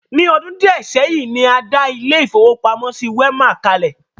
Ní ọdún díẹ̀ seyin, ní a dá ilé-ìfowópamọ́sí Wema kalẹ̀.